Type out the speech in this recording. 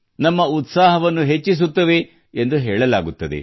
ನಮ್ಮ ಉತ್ಸಾಹವನ್ನು ಹೆಚ್ಚಿಸುತ್ತವೆ ಎಂದು ಹೇಳಲಾಗುತ್ತದೆ